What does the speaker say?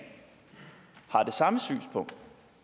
på